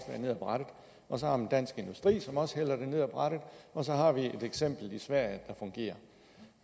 ned af brættet og så har man dansk industri som også hælder det ned af brættet og så har vi et eksempel i sverige der fungerer